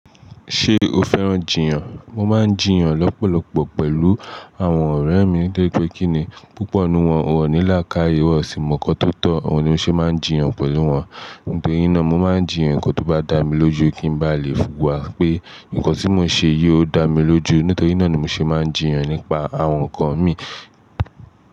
Ṣé o fẹ́ràn jiyàn? Mo máa ń jiyàn lọ́pọ̀lọpọ̀ pẹ̀lú àwọn ọ̀rẹ́ mi torípé kíni. Púpọ̀ núwọn ò ní làákàyè, wọ́n sì mọkan tó tọ́, òun ni mo ṣe máa ń jiyàn pẹ̀lú wọn. Nítorí náà, mo máa ń jiyàn ǹkan tó bá dà mí lójú kí n ba lè wù wá pé ǹkan tí mo se yii ò, o dà mí lójú. Nítorí náà ni mo ṣe máa ń jiyàn nípa àwọn ǹkan mi.